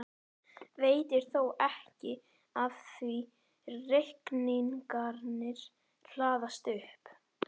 Veitir þó ekki af því reikningarnir hlaðast upp.